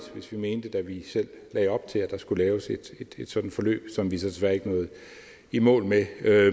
hvis vi mente da vi selv lagde op til at der skulle laves et sådant forløb som vi så desværre ikke nåede i mål med